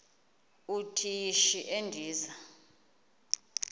uthi yishi endiza